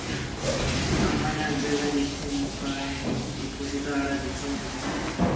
amanang jaaka dithedimogane diphousetara ditshwantsho